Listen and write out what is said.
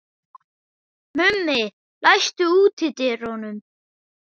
Mummi, læstu útidyrunum.